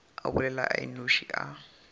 a bolela a nnoši a